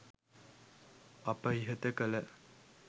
අප ඉහත කළ